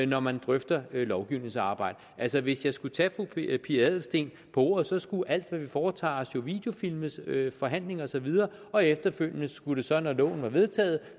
når man drøfter lovgivningsarbejde altså hvis jeg skulle tage fru pia adelsteen på ordet så skulle alt hvad vi foretager os jo videofilmes forhandlinger og så videre og efterfølgende skulle det så når loven var vedtaget